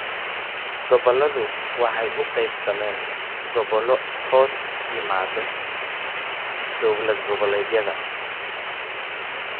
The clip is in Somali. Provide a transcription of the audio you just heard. Gobolladu waxay u qaybsameen gobollo hoos yimaadda dawlad-goboleedyada.